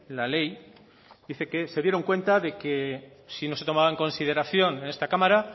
la ley dice que se dieron cuenta de que si no se tomaba en consideración en esta cámara